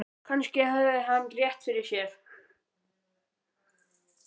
Kannski hafði hann rétt fyrir sér.